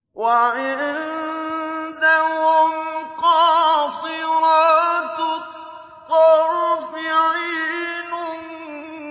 وَعِندَهُمْ قَاصِرَاتُ الطَّرْفِ عِينٌ